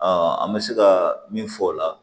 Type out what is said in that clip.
an bɛ se ka min fɔ o la